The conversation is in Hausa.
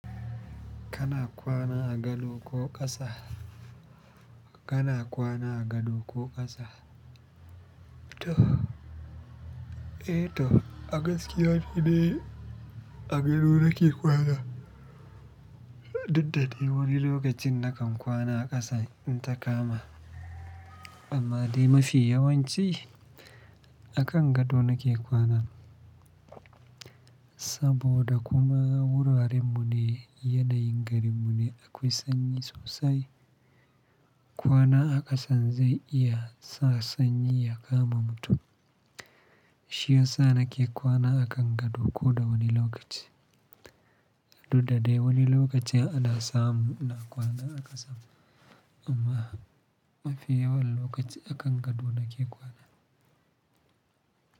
Kana kwana a gado ko ƙasa? Kana kwana a gado ko ƙasa? To, eh to, a gaskiya ni de a gado nake kwana. Duk da dai wani lokacin na kan kwana a ƙasa in ta kama, amma dai mafi yawanci a kan gado nake kwana. Saboda kuma wurarenmu ne yana yin garinmu ne akwai sanyi sosai. Kwana a ƙasan zai iya sa sanyi ya kama mutum. Shiyasa nake kwana a kan gado ko da wani lokaci. Duk da dai wani lokaci ana samun na kwana a ƙasa amma mafi yawan lokaci a kan gado nake kwana.